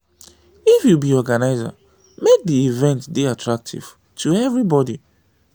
if you be organiser make di event dey attractive to everybody